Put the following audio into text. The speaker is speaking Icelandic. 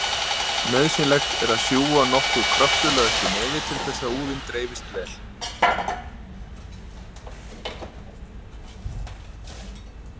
Nauðsynlegt er að sjúga nokkuð kröftulega upp í nefið til þess að úðinn dreifist vel.